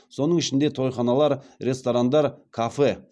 соның ішінде тойханалар ресторандар кафе